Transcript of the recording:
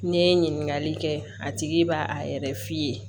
N'i ye ɲininkali kɛ a tigi b'a a yɛrɛ f'i ye